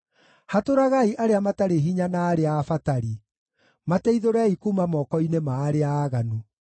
Hatũragai arĩa matarĩ hinya na arĩa abatari; mateithũrei kuuma moko-inĩ ma arĩa aaganu.